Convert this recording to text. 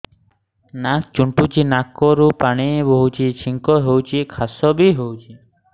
ନାକ ଚୁଣ୍ଟୁଚି ନାକରୁ ପାଣି ବହୁଛି ଛିଙ୍କ ହଉଚି ଖାସ ବି ହଉଚି